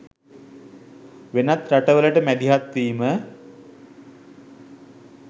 වෙනත් රටවලට මැදිහත්වීම